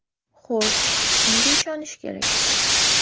Xo‘sh, kimga ishonish kerak?